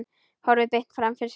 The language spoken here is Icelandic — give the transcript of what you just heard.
Horfir beint fram fyrir sig.